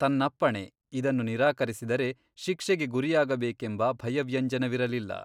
ತನ್ನಪ್ಪಣೆ ಇದನ್ನು ನಿರಾಕರಿಸಿದರೆ ಶಿಕ್ಷೆಗೆ ಗುರಿಯಾಗಬೇಕೆಂಬ ಭಯವ್ಯಂಜನವಿರಲಿಲ್ಲ.